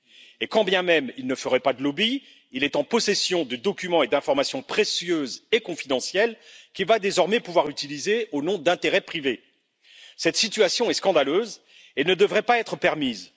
Et quand bien même il ne ferait pas de lobby, il est en possession de documents et d'informations précieuses et confidentielles qu'il va désormais pouvoir utiliser au nom d'intérêts privés. Cette situation est scandaleuse et ne devrait pas être permise.